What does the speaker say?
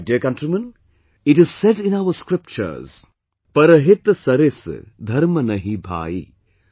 My dear countrymen, it is said in our scriptures 'Parhit Saris Dharam Nahi Bhai'